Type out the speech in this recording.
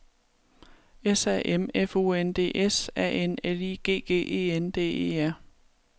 S A M F U N D S A N L I G G E N D E R